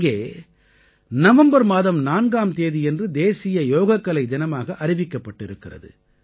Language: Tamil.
அங்கே நவம்பர் மாதம் 4ஆம் தேதியன்று தேசிய யோகக்கலை தினமாக அறிவிக்கப் பட்டிருக்கிறது